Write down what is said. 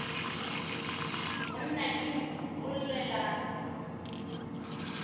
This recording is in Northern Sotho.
monna ke nku o llela